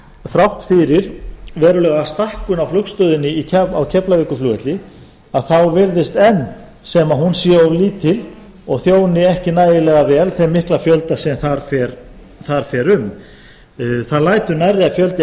þrátt fyrir verulega stækkun í flugstöðinni á keflavíkurflugvelli þá virðist enn sem hún sé of lítil og þjóni ekki nægilega vel þeim mikla fjölda sem þar fer um það lætur